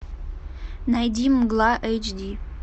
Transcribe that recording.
найди мгла эйч ди